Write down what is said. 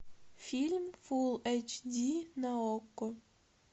фильм фулл эйч ди на окко